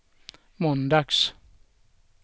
måndags